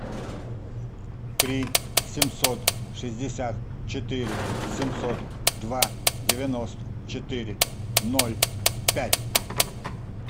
три семьсот шестьдесят четыре семьсот два девяносто четыре ноль пять